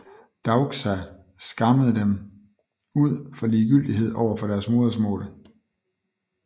Daukša skammede dem ud for ligegyldighed over for deres modersmål